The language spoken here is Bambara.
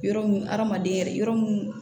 Yɔrɔ mun hadamaden yɛrɛ yɔrɔ mun